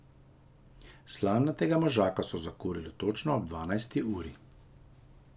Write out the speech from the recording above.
Slamnatega možaka so zakurili točno ob dvanajsti uri.